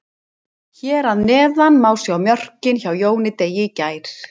Hér að neðan má sjá mörkin hjá Jóni Degi í gær.